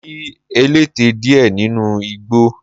Mo rí ẹlẹ́tẹ díẹ̀ nínu igbó.